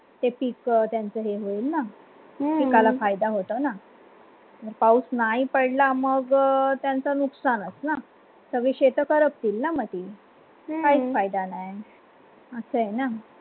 ते पीक त्यांचे होईल ना पिकाला फायदा होतोना हम्म पाऊस नाही पडला मग त्यांचा नुकसानस न सगडी शेत करपतील न मधी काहीच फायदा नाही आहे हम्म अस आहे न